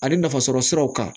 Ani nafasɔrɔ siraw kan